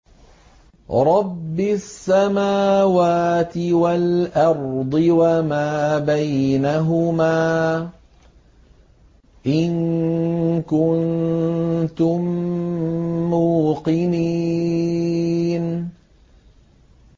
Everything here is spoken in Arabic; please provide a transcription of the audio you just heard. رَبِّ السَّمَاوَاتِ وَالْأَرْضِ وَمَا بَيْنَهُمَا ۖ إِن كُنتُم مُّوقِنِينَ